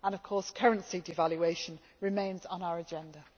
Of course currency devaluation remains on our agenda.